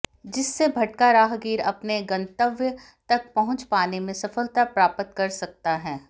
जिससे भटका राहगीर अपने गंतव्य तक पहुंच पाने में सफलता प्राप्त कर सकता है